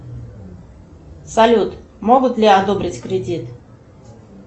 салют могут ли одобрить кредит